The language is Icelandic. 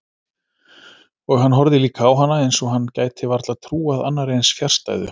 Og hann horfði líka á hana eins og hann gæti varla trúað annarri eins fjarstæðu.